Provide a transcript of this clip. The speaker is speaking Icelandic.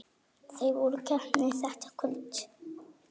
Þeir voru heppnir þetta kvöld.